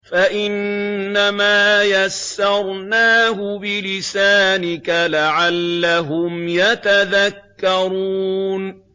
فَإِنَّمَا يَسَّرْنَاهُ بِلِسَانِكَ لَعَلَّهُمْ يَتَذَكَّرُونَ